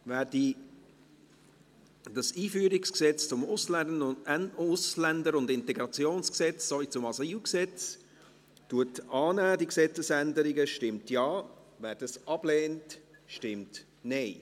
Wer die Gesetzesänderungen betreffend das EG AIG und AsylG annimmt, stimmt Ja, wer dies ablehnt, stimmt Nein.